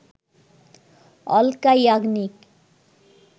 Alka Yagnik